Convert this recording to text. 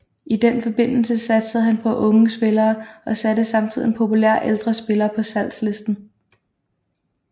I den forbindelse satsede han på unge spillere og satte samtidig en populær ældre spiller på salgslisten